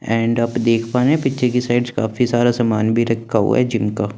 and आप देख पारे पीछे की साइड काफी सारा सामान भी रखा हुआ है जिनका--